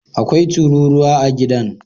Akwai tururuwa a gidan